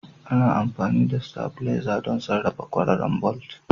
Ana amfani da stavilizer don sarrafa kwararar bolt.